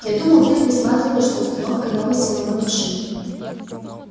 я думал ты присматриваешь за установкой новой силовой машины